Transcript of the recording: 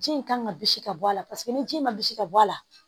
Ji in kan ka bisi ka bɔ a la paseke ni ji ma bisi ka bɔ a la